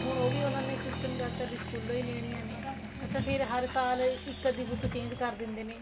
ਹੁਣ ਉਹ ਵੀ ਉਹਨਾ ਨੇ system ਕਰਤਾ ਵੀ ਸਕੂਲੋ ਹੀ ਲੈਣੀਆਂ ਨੇ ਅੱਛਾ ਫ਼ਿਰ ਹਰ ਸਾਲ ਇੱਕ ਅੱਧੀ book change ਕਰ ਦਿੰਦੇ ਨੇ